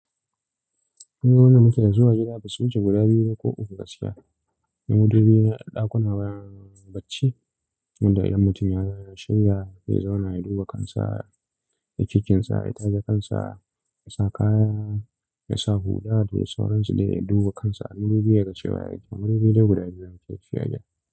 Wani wanda muke zuwa gida, basu wuce guda biyu ba ko uku gaskiya. Ni madubina ɗakuna bayan bacci, wanda idan mutum ya shirya zai zauna ya duba kansa, ya kikinsa, ya taje kansa, ya sa kaya, yasa hula da sauransu dai ya duba kansa. Ni madubina kashe baya yake. Madubi dai guda biyu yake ci a gida.